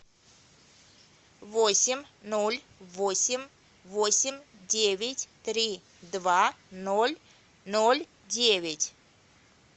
восемь ноль восемь восемь девять три два ноль ноль девять